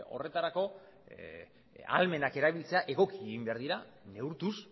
horretarako ahalmenak erabiltzea egoki egin behar dira neurtuz